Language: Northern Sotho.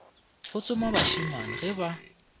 go tsoma bašemane ge ba